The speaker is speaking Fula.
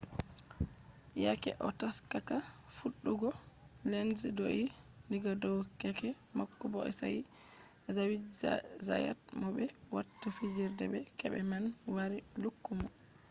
yake o taskata fuɗɗugo lenz do’i diga dow keke mako bo sai zaviye zayat mo ɓe watta fijirde be keke man wari lukki mo